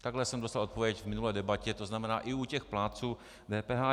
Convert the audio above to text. Takhle jsem dostal odpověď v minulé debatě, to znamená i u těch plátců DPH.